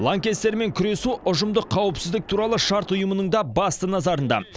лаңкестермен күресу ұжымдық қауіпсіздік туралы шарт ұйымының да басты назарында